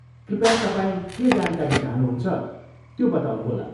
कृपया तपाईँ के जानकारी चाहनुहुन्छ, त्यो बताउनुहोला।